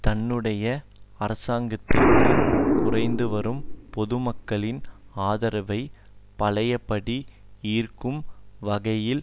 தன்னுடைய அரசாங்கத்திற்கு குறைந்துவரும் பொதுமக்களின் ஆதரவை பழையபடி ஈர்க்கும் வகையில்